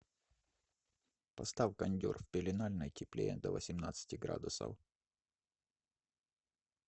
поставь кондер в пеленальной теплее до восемнадцати градусов